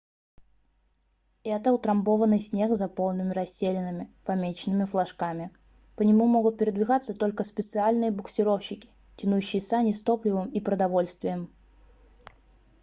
это утрамбованный снег с заполненными расселинами помеченными флажками по нему могут передвигаться только специальные буксировщики тянущие сани с топливом и продовольствием